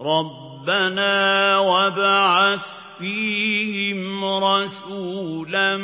رَبَّنَا وَابْعَثْ فِيهِمْ رَسُولًا